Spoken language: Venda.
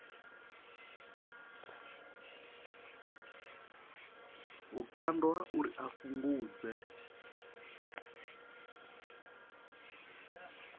vhukando ha uri a fhungudze